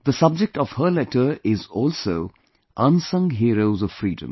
The subject of her letter is also Unsung Heroes of Freedom